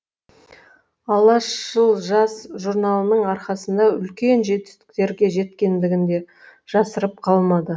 алашшыл жас журналының арқасында үлкен жетістіктерге жеткендігін де жасырып қалмады